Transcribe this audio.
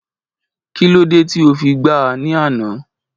Kí ló dé tí o fi gbá a ní àná?